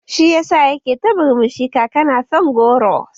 Shi yasa yake ta murmushi, kaka na son goro